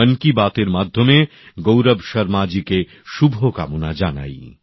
মন কি বাত এর মাধ্যমে গৌরব শর্মাজিকে শুভকামনা জানাই